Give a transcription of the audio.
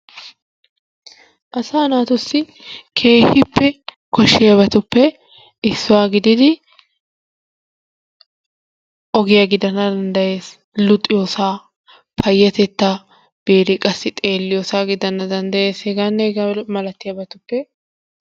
Asaa naatussi keehippe koshshiyabattuppe issuwaa gididi ogiyaa gidanna dandayees luxiyossa, payatetta biidi qassi xeelliyossa gidanna dandayees heganne hegaa malattiyabatuppe...